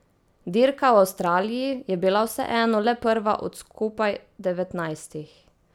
Dirka v Avstraliji je bila vseeno le prva od skupaj devetnajstih.